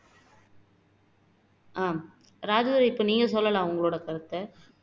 ஆஹ் ராஜதுரை இப்போ நீங்க சொல்லலாம் உங்களோட கருத்தை